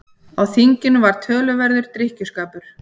Á þinginu var töluverður drykkjuskapur.